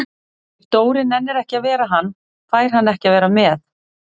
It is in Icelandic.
Ef Dóri nennir ekki að vera hann, fær hann ekki að vera með